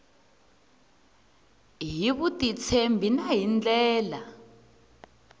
hi vutitshembi na hi ndlela